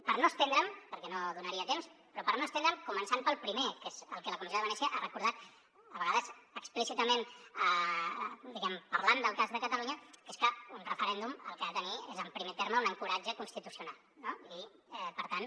per no estendre’m perquè no donaria temps començant pel primer que és el que la comissió de venècia ha recordat a vegades explícitament diguem ne parlant del cas de catalunya que és que un referèndum el que ha de tenir és en primer terme un ancoratge constitucional i per tant